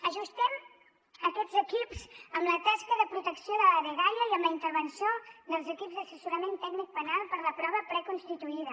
ajustem aquests equips amb la tasca de protecció de la dgaia i amb la intervenció dels equips d’assessorament tècnic penal per a la prova preconstituïda